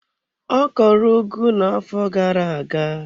Ọ kọrọ ugu na-afọ gara aga.